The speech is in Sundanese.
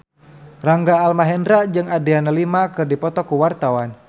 Rangga Almahendra jeung Adriana Lima keur dipoto ku wartawan